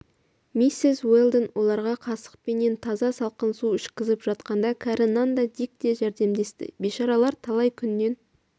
миссис уэлдон оларға қасықпенен таза салқын су ішкізіп жатқанда кәрі нан да дик те жәрдемдесті бейшаралар талай күннен